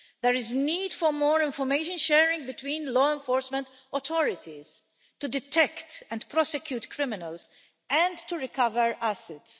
There is need for more information sharing between law enforcement authorities to detect and prosecute criminals and to recover assets.